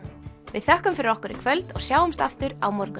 við þökkum fyrir okkur í kvöld og sjáumst aftur á morgun